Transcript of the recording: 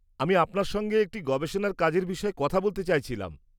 আমি আপনার সঙ্গে একটি গবেষণার কাজের বিষয়ে কথা বলতে চাইছিলাম।